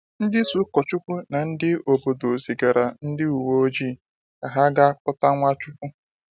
Ndị isi Ukochukwu na ndị obodo zigara ndị uwe ojii ka ha ga kpụta Nwachukwu.